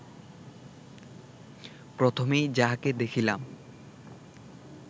প্রথমেই যাহাকে দেখিলাম